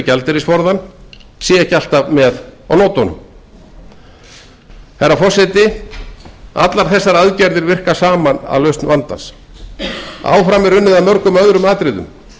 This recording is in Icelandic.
gjaldeyrisforðann séu ekki alveg með á nótunum allar þessar aðgerðir virka saman að lausn vandans áfram er unnið að mörgum öðrum atriðum